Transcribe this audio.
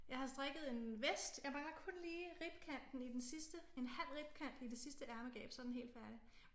Jeg har strikket en vest jeg mangler kun lige ribkanten i den sidste en halv ribkant i det sidste ærmegab så er den helt færdig den er ikke